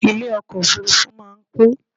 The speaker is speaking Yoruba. Ilé ọkọ̀ òfurufú máa ń kún